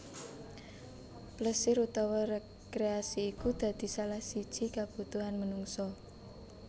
Plesir utawa rekreasi iku dadi salah siji kebutuhan menungsa